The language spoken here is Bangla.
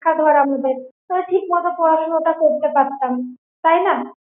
হ্যা ধর আমি দেখ ঠিকমতো পড়াশুনো তা করতে পারতাম তাই না?